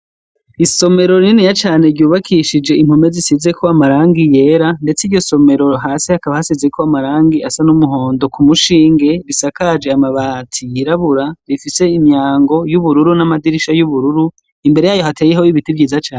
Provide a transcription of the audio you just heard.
Isomero rinini cane ryubakishije Impome zisizeko amarangi yera kuriryo somero hasi Hakaba hasize amarangi kumushinge asakaje amabati yirabura rifise Imyango yubururu. namadirisha yubururu mbere yaho hateye Ibiti vyiza cane.